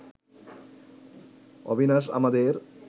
অবিনাশ আমাদের